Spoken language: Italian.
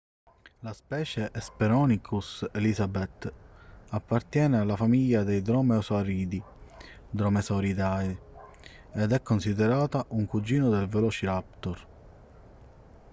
la specie hesperonychus elizabethae appartiene alla famiglia dei dromeosauridi dromaeosauridae ed è considerata un cugino del velociraptor